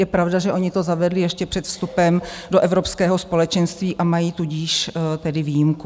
Je pravda, že oni to zavedli ještě před vstupem do Evropského společenství, a mají tudíž tedy výjimku.